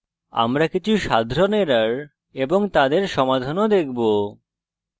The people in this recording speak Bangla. আমরা কিছু সাধারণ errors এবং তাদের সমাধান ও দেখব